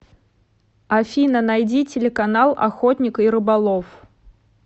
афина найди телеканал охотник и рыболов